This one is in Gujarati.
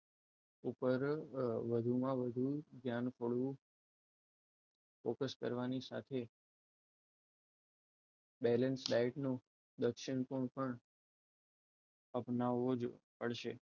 ઉપર વધુમાં વધુ ધ્યાન થોડું focus કરવાની સાથે talent life નો દક્ષિણ પૂર્વ પણ આપનાવું જ પડશે